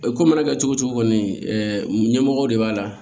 Ko mana kɛ cogo cogo ɛɛ ɲɛmɔgɔ de b'a la